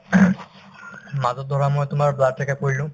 মাজত ধৰা মই তোমাৰ blood check up কৰিলো